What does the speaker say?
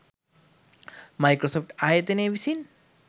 Microsoft ආයතනය විසින්